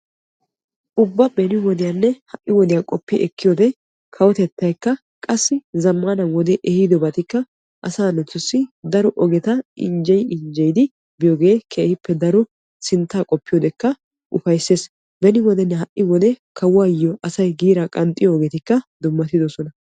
ubba beni wodiyanne ha'i wodiya qopi ekkiyoode kawotettaykka qassi zammana wode ehidoobaykka asaa naatussi daro ogeta injje injjeyidi biyooge keehippe daro sinttaa qopiyoodekka ufayssees. beni wodenne ha'i wode kawuwaayyo asay giira qanxxiyo ogetikka dummaydoosona.